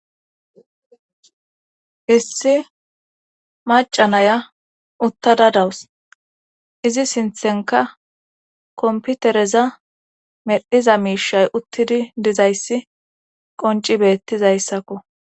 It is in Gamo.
Issi macanaya uttada dawus izi sinthenka komputereza meddhiza miishay uttidi dizayssi qonci beettizayssakko.